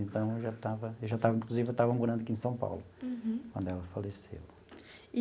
Então, eu já estava eu já estava, inclusive, eu já estava morando aqui em São Paulo, quando ela faleceu.